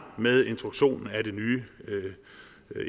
med introduktionen af det nye